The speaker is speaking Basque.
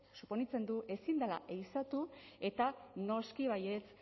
suponitzen du ezin dela ehizatu eta noski baietz